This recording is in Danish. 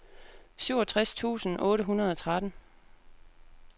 syvogtres tusind otte hundrede og tretten